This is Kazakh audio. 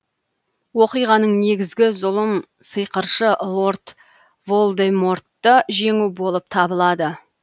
оқиғаның негізгі зұлым сиқыршы лорд волдемортты жеңу болып табылады